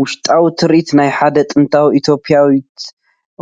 ውሽጣዊ ትርኢት ናይ ሓደ ጥንታዊት ኢትዮጵያዊት